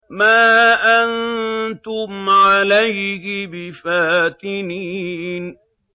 مَا أَنتُمْ عَلَيْهِ بِفَاتِنِينَ